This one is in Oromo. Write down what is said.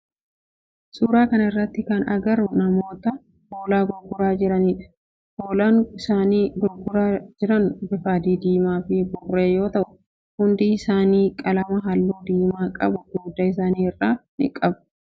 Suuraa kana irratti kana agarru namoota hoolaa gurguraa jiranidha. Hoolaan isaan gurguraa jiran bifa adii, diimaa fi burree yoo ta'u hundi isaanii qalama halluu diimaa qabu dugda isaanii irraa qabu.